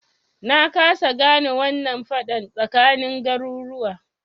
Na kasa gane wannan faɗan tsakanin garuruwa